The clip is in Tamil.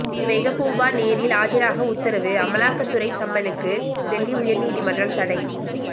மெகபூபா நேரில் ஆஜராக உத்தரவு அமலாக்கத்துறை சம்மனுக்கு டெல்லி உயர் நீதிமன்றம் தடை